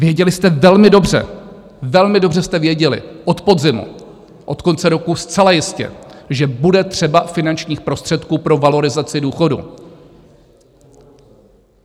Věděli jste velmi dobře, velmi dobře jste věděli od podzimu, od konce roku zcela jistě, že bude třeba finančních prostředků pro valorizaci důchodů.